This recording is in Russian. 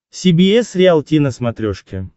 си би эс риалти на смотрешке